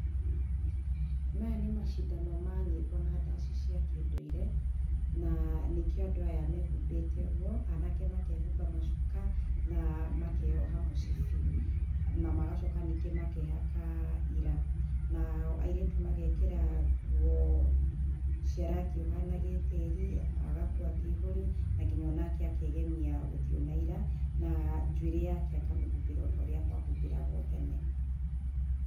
Maya nĩ macindano ma nyĩmbo na ndacĩ cĩa kindũire, na nĩkio andũ aya mehũmbĩte ugũo, anake makehũba macũka na makeyoha mũcibi na magocoka ningĩ makehaka ira nao airitu magekĩra nguo cia rangi uhaana gĩtĩĩri, agakuua kĩihuri na nginya onake akegemia uthio na ira na njuĩrĩ yake akamĩhumbĩra utauria kwahũmbĩragwo tene.